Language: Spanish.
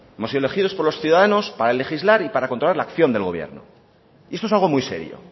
hemos sido elegidos por los ciudadanos para legislar y para controlar la acción del gobierno y esto es algo muy serio